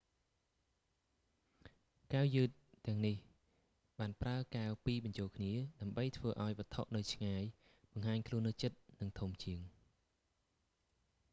កែវយឺតទាំងនេះបានប្រើកែវពីរបញ្ចូលគ្នា ដើម្បីធ្វើឱ្យវត្ថុនៅឆ្ងាយបង្ហាញខ្លួននៅជិតនិងធំជាង